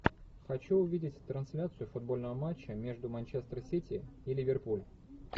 хочу увидеть трансляцию футбольного матча между манчестер сити и ливерпуль